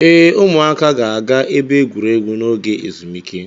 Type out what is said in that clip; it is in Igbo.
Ee, ụmụaka ga-aga ebe egwuregwu n'oge ezumike